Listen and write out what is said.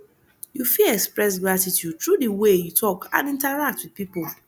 you fit express gratitude through di way you talk and interact with people